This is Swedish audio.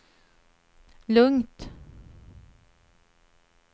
lugnt